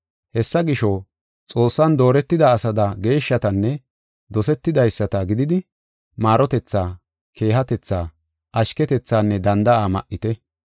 Hessa gisho, Xoossan dooretida asada geeshshatanne dosetidaysata gididi, maarotethaa, keehatetha, ashketethanne danda7a ma7ite.